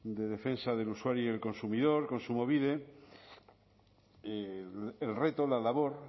de defensa del usuario y el consumidor kontsumobide el reto la labor